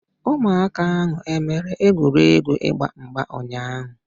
Ụmụaka ahu e mere egwuregwu ịgba mgba ụnyaahụ?